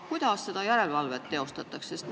Kuidas seda järelevalvet teostatakse?